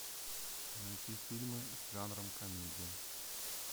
найти фильмы с жанром комедия